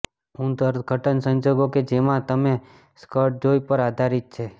ઊંઘ અર્થઘટન સંજોગો કે જેમાં તમે સ્કર્ટ જોઈ પર આધારિત છે